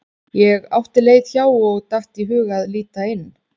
Ég átti leið hjá og datt í hug að líta inn.